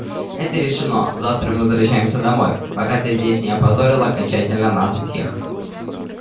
это решено завтра мы возвращаемся домой пока ты здесь не опозорила окончательно нас всех